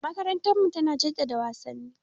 Makarantarmu tana jaddada wasanni.